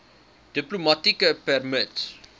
diplomatieke permit